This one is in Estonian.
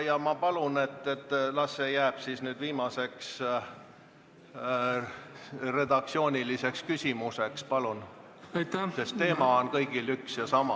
Ja ma palun, et see jääks nüüd viimaseks redaktsiooniliseks küsimuseks, sest teema on kõigil neil eelnõudel üks ja sama.